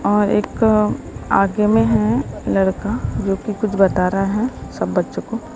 और एक आगे में हैं लड़का जो कि कुछ बता रहा हैं सब बच्चों को।